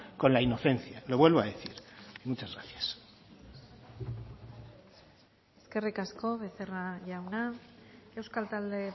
con la inocencia lo vuelvo a decir muchas gracias eskerrik asko becerra jauna euskal talde